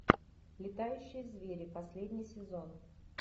летающие звери последний сезон